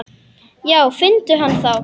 Já finndu hann þá!